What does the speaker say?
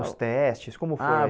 os testes, como foi? Ah